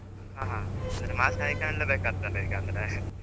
ಹ ಹ ಸರಿ mask ಹಾಯ್ಕಂಡ್ಲೇ ಬೇಕಾತ್ತಲ್ಲ ಈಗ ಅಂದ್ರೆ .